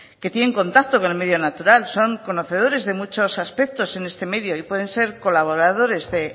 que tienen contacto con el medio natural son conocedores de muchos aspectos en este medio y pueden ser colaboradores en